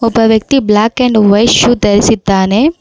ಒಬ್ಬ ವ್ಯಕ್ತಿ black and white shoe ಧರಿಸಿದ್ದಾನೆ.